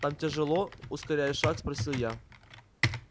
там тяжело ускоряя шаг спросил я